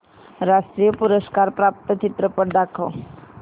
राष्ट्रीय पुरस्कार प्राप्त चित्रपट दाखव